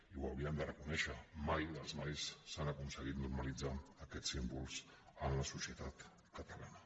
i ho haurien de reconèixer mai dels mais s’han aconseguit normalitzar aquests símbols en la societat catalana